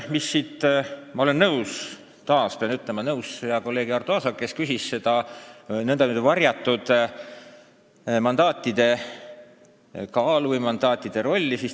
Esiteks, ma olen nõus, taas pean ütlema, hea kolleegi Arto Aasaga, kes küsis mandaatide kaalu või rolli kohta.